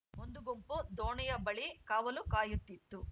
ಒಂದು ಗುಂಪು ದೋಣಿಯ ಬಳಿ ಕಾವಲು ಕಾಯುತ್ತಿತ್ತು